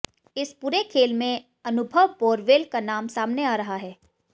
इस पूरे खेल में अनुभव बोरवेल का नाम सामने आ रहा है